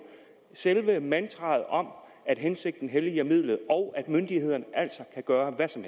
selve mantraet om at hensigten helliger midlet og at myndighederne altså kan gøre hvad som